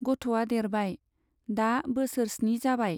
गथ'आ देरबाय, दा बोसोर स्नि जाबाय।